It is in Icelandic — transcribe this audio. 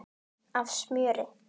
af smjöri.